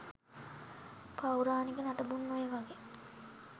පෞරාණික නටබුන් ඔය වගේ